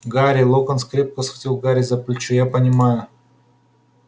гарри локонс крепко схватил гарри за плечо я понимаю